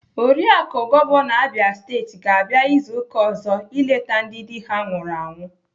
Oriaku gọvanọ Abia Steeti ga-abịa izu ụka ọzọ eleta ndị dị ha nwụrụ anwụ.